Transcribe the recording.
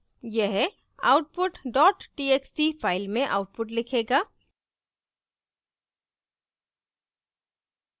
यह output dot txt file में output लिखेगा